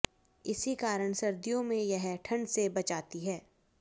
इसी कारण सर्दियों में यह ठंड से बचाती है